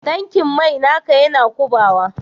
Tankin mai naka Yana kubawa?